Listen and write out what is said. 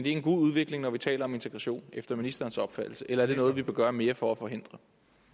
en god udvikling når vi taler om integration efter ministerens opfattelse eller er det noget vi bør gøre mere for at forhindre